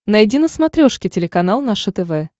найди на смотрешке телеканал наше тв